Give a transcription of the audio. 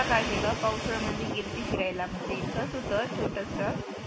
काय केल पावसळ मंधी गेल्ती फिरायला म्हणजे तस त छोटस